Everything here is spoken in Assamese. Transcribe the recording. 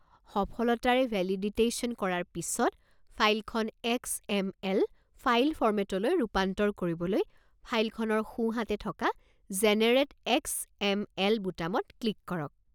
সফলতাৰে ভেলিডিটেশ্যন কৰাৰ পিছত, ফাইলখন এক্স.এম.এল. ফাইল ফৰ্মেটলৈ ৰূপান্তৰ কৰিবলৈ ফাইলখনৰ সোঁ হাতে থকা 'জেনেৰেট এক্স.এম.এল.' বুটামত ক্লিক কৰক।